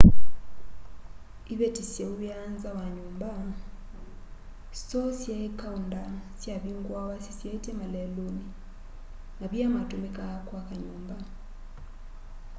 iveti syauwiaa nza wa nyumba stoo syai kaunda syavinguawa syisyaitye maleluni mavia matumikaa kwaka nyumba